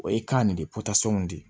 O ye kan nin de pɔtasɔnw de ye